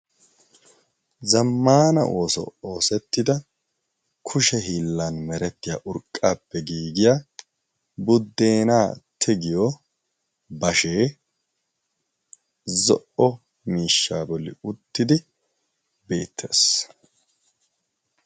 Zammaana ooso oosettida kushe hiillan merettiya urqqaappe giigiya buddeenaa tigiyo bashee zo"o miishshaa bolli uttidi beettees.